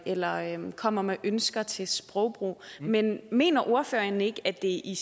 eller kommer med ønsker til sprogbrug men mener ordføreren ikke at det i